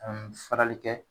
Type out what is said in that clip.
An bɛ farali kɛ